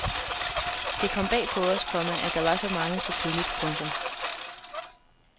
Det kom bag på os, komma at der var så mange så tidligt. punktum